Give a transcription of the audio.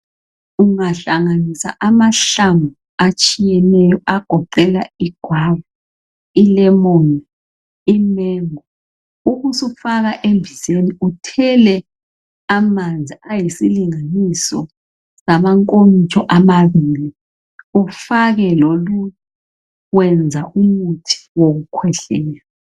ungahlanganisa amahlamvu atshiyeneyo agoqela i guava i lemon imengo ubusufaka embizeni uthele amanzi ayisilinganiso samankomitsho amabili ufake loluju wenza umuthi wokukhwehlela